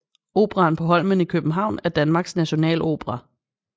Operaen på Holmen i København er Danmarks nationalopera